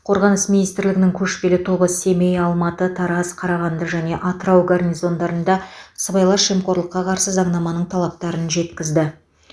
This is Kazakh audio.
қорғаныс министрлігінің көшпелі тобы семей алматы тараз қарағанды және атырау гарнизондарында сыбайлас жемқорлыққа қарсы заңнаманың талаптарын жеткізді